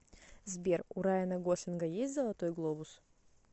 сбер у райана гослинга есть золотой глобус